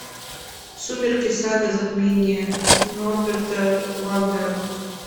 сумерки сага затмение норберта вандера